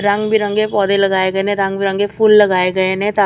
ਰੰਗ ਬਿਰੰਗੇ ਪੌਦੇ ਲਗਾਏ ਗਏ ਨੇ ਰੰਗ ਬਿਰੰਗੇ ਫੁੱਲ ਲਗਾਏ ਗਏ ਨੇ ਤਾਂ --